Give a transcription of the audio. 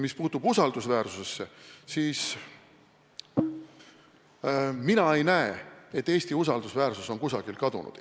Mis puutub usaldusväärsusesse, siis mina ei näe, et Eesti usaldusväärsus on kusagile kadunud.